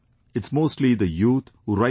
It's mostly the youth who write to me